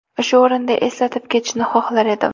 Shu o‘rinda eslatib ketishni xohlar edim.